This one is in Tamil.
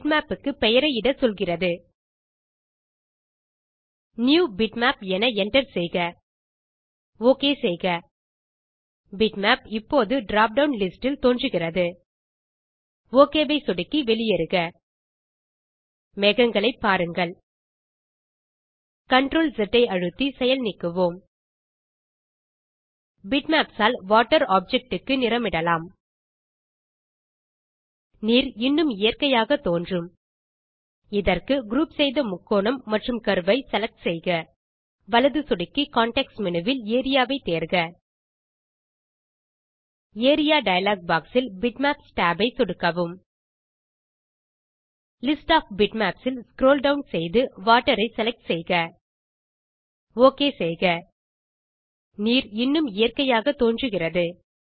பிட்மேப் க்கு பெயரை இட சொல்கிறது நியூபிட்மேப் என என்டர் செய்க ஓகே செய்க பிட்மேப் இப்போது drop டவுன் லிஸ்ட் இல் தோன்றுகிறது ஒக் ஐ சொடுக்கி வெளியேறுக மேகங்களை பாருங்கள் CTRL ஸ் ஐ அழுத்தி செயல் நீக்குவோம் பிட்மேப்ஸ் ஆல் வாட்டர் ஆப்ஜெக்ட் க்கு நிறமிடலாம் நீர் இன்னும் இயற்கையாக தோன்றும் இதற்கு குரூப் செய்த முக்கோணம் மற்றும் கர்வ் ஐ செலக்ட் செய்க வலது சொடுக்கி கான்டெக்ஸ்ட் மேனு வில் ஏரியா வை தேர்க ஏரியா டயலாக் பாக்ஸ் இல் பிட்மேப்ஸ் tab ஐ சொடுக்கவும் லிஸ்ட் ஒஃப் பிட்மேப்ஸ் இல் ஸ்க்ரோல் டவுன் செய்து வாட்டர் ஐ செலக்ட் செய்க ஓகே செய்க நீர் இன்னும் இயற்கையாக தோன்றுகிறது